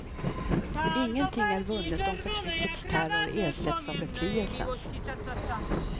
Ingenting är vunnet om förtryckets terror ersätts av befrielsens.